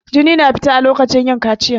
Jini na fita a lokacin yin kaciya.